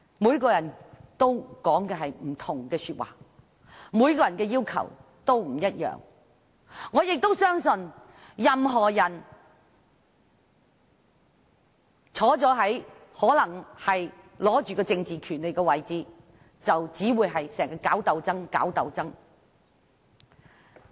每個人說的話都不同，要求都不一樣，我相信任何人位居掌握政治權利的位置，就會經常搞鬥爭。